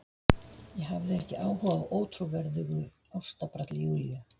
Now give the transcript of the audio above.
Ég hafði ekki áhuga á ótrúverðugu ástabralli Júlíu.